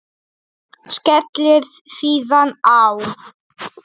Skellir síðan á.